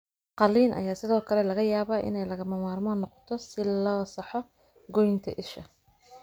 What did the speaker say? Qalliin ayaa sidoo kale laga yaabaa inay lagama maarmaan noqoto si loo saxo goynta isha.